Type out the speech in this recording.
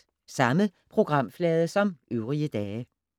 Samme programflade som øvrige dage